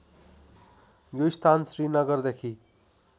यो स्थान श्रीनगरदेखि